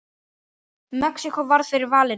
Mexíkó varð fyrir valinu.